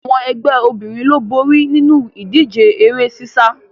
Àwọn ẹgbẹ́ obìnrin ló borí nínu ìdíje eré sísá